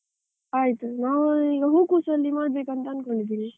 ಆಯ್ತು, ನಾನು ಈಗ ಹೂಕೋಸಲ್ಲಿ ಮಾಡಬೇಕಂತ ಅನ್ಕೊಂಡಿದ್ದೀನಿ?